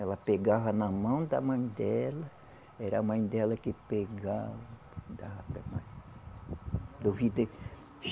Ela pegava na mão da mãe dela, era a mãe dela que pegava dava